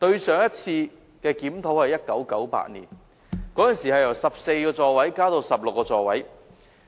上次的檢討是1988年，當時由14個座位增至16個座位。